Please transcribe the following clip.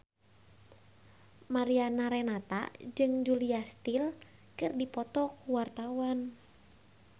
Mariana Renata jeung Julia Stiles keur dipoto ku wartawan